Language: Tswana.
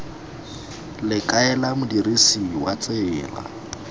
le kaela modirisi wa tsela